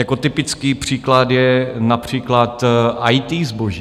Jako typický příklad je například IT zboží.